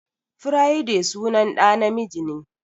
Friday sunan ɗa na miji ne.